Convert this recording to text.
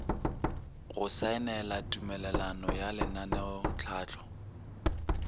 go saenela tumelelano ya lenaneotlhahlo